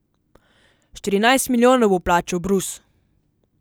Štirinajst milijonov bo plačal Brus!